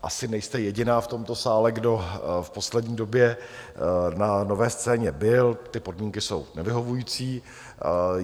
Asi nejste jediná v tomto sále, kdo v poslední době na Nové scéně byl, ty podmínky jsou nevyhovující.